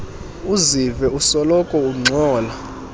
uzive usoloko ungxola